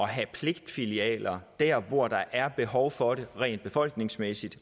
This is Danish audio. have pligtfilialer der hvor der er behov for det rent befolkningsmæssigt